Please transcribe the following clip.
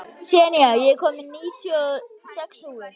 Senía, ég kom með níutíu og sex húfur!